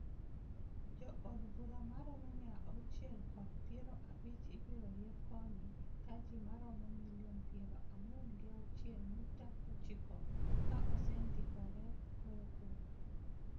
Jo od bura ma romo mia auchiel kod piero abich ibiro yier koni ka ji maromo milion pearo ang'wen gi auchiel nyukta ochiko ka osendiikore goyo kura